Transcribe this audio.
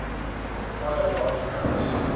require large amounts